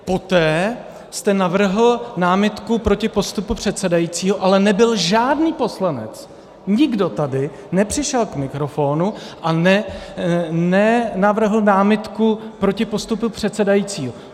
Poté jste navrhl námitku proti postupu předsedajícího, ale nebyl žádný poslanec, nikdo tady nepřišel k mikrofonu a nenavrhl námitku proti postupu předsedajícího.